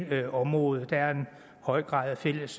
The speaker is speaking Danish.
det område der er en høj grad af fælles